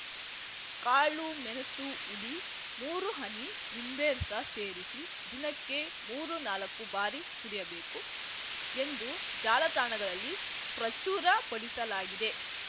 ಕಾಳು ಮೆಣಸು ಹುಡಿ ಮೂರು ಹನಿ ನಿಂಬೆರಸ ಸೇರಿಸಿ ದಿನಕ್ಕೆ ಮೂರು ನಾಲ್ಕು ಬಾರಿ ಕುಡಿಯಬೇಕು ಎಂದು ಜಾಲತಾಣಗಳಲ್ಲಿ ಪ್ರಚುರಪಡಿಸಲಾಗಿದೆ